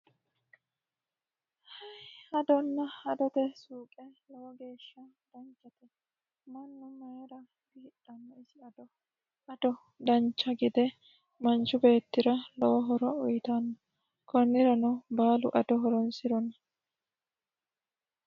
Adona adote suuqe lowo geeshsha danchate. Mannu mayyira hidhanno isi ado? Ado dancha gede manchu beetira lowo horo uyiitanno. konnirano baalu ado horonsirona.